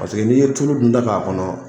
n'i ye tulu dunta k'a kɔnɔ